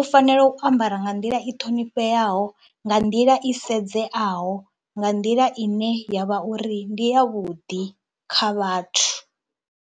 U fanela u ambara nga nḓila i ṱhonifheaho, nga nḓila i sedzeaho, nga nḓila i ne ya vha uri ndi yavhuḓi kha vhathu.